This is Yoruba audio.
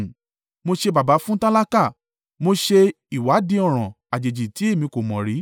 Mo ṣe baba fún tálákà; mo ṣe ìwádìí ọ̀ràn àjèjì tí èmi kò mọ̀ rí.